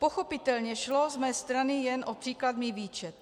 Pochopitelně šlo z mé strany jen o příkladný výčet.